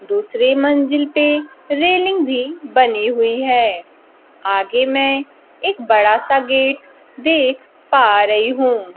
दूसरी मंजिल पे रेलिंग भी बनी हुई हैं। आगे में एक बड़ा सा गेट देख पा रही हूं।